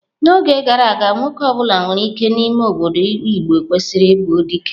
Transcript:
N'oge gara aga, nwoke ọ bụla nwere ike n'ime obodo igbo kwesịrị ịbụ dike.